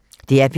DR P2